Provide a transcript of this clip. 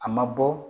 A ma bɔ